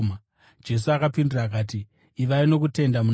Jesu akapindura akati, “Ivai nokutenda muna Mwari.